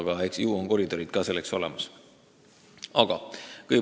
Aga eks meil ole selleks olemas koridorid.